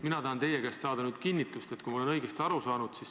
Mina tahan teie käest saada nüüd kinnitust, kas ma olen õigesti aru saanud.